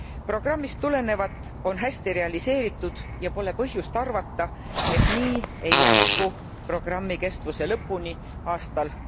Programmist tulenevat on hästi realiseeritud ja ei ole põhjust arvata, et nii ei jätku programmi kestuse lõpuni aastal